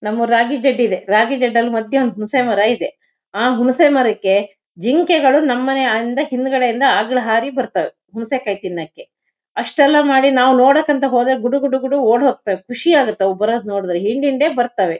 ನಮ್ಮೂರ್ ರಾಗಿ ಜೆಡ್ ಇದೆರಾಗಿ ಜೆಡ್ಡಲ್ ಮಧ್ಯ ಒಂದ್ ಹುಣ್ಸೆ ಮರ ಇದೆಆ ಹುಣ್ಸೆ ಮರಕ್ಕೆ ಜಿಂಕೆಗಳು ನಮ್ಮನೆ ಇಂದ ಹಿಂದ್ಗಡೆ ಇಂದ ಅಗ್ಳು ಹಾರಿ ಬರ್ತವೆ ಹುಣ್ಸೆ ಕಾಯ್ ತಿನ್ನಕ್ಕೆ ಅಷ್ಟೆಲ್ಲ ಮಾಡಿ ನಾವ್ ನೋಡಕ್ಕಂತ ಹೋದಾಗ ಗುಡುಗುಡುಗುಡು ಓಡ್ಹೋಗ್ತವೆಖುಷಿಯಾಗತ್ ಅವ್ ಬರೋದ್ ನೋಡ್ದ್ರೆ ಹಿಂಡ್ ಹಿಂಡೆ ಬರ್ತಾವೆ.